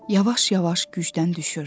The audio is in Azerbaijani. Yavaş-yavaş gücdən düşürdü.